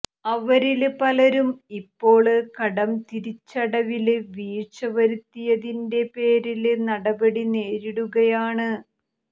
അവരില് പലരും ഇപ്പോള് കടം തിരിച്ചടവില് വീഴ്ച വരുത്തിയതിന്റെ പേരില് നടപടി നേരിടുകയാണ്